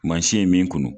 Mansin ye min kunu